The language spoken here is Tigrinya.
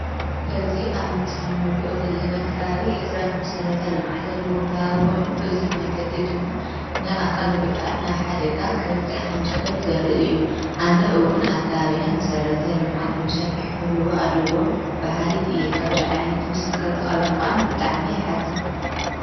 እዝ ኣብ ምስል ኖርኦ ዘለና ኽባብ ሕፅረት መሠረተ ልምዓት ዘለዎ ክባብ ኾይኑ እዙይ መንገዲ ድማ ንኣካል ጕዱኣት ናብ ሓደጋ ኸብ ፂሕ ኸም ዝኽእል ዘርእ እዩ ኣነ እውን ኣካኣብና መሠረተ ልምዓት ብብሰፊሕ ክህልዎ ኣለዎም ብሃልይቲ የ ኸምዙ ዓይነት ምስል ክርእኽሎኾዓን ብጠዕመ የሓዘ።